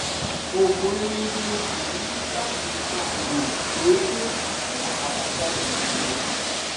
oògùn rere ni o o sì ní láti máa lo o déédéé fún àbájáde rere